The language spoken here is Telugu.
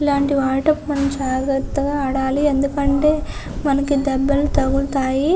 ఇలాంటివాటిని చాలా జాగ్రత్తగా ఆడాలి ఎందుకంటే మనకి దెబ్బలు తగులుతాయి.